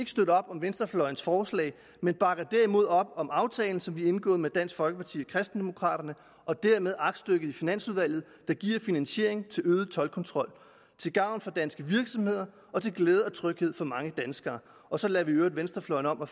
støtte op om venstrefløjens forslag men bakker derimod op om aftalen som vi har indgået med dansk folkeparti og kristendemokraterne og dermed aktstykket i finansudvalget der giver finansiering til øget toldkontrol til gavn for danske virksomheder og til glæde og tryghed for mange danskere og så lader vi i øvrigt venstrefløjen om at